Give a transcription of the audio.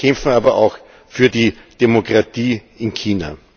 Sie kämpfen aber auch für die Demokratie in China.